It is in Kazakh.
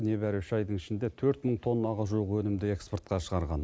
небәрі үш айдың ішінде төрт мың тоннаға жуық өнімді экспортқа шығарған